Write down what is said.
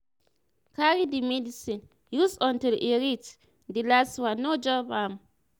carry the medicine use untill e reach di last one no jump am.